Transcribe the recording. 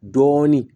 Dɔɔnin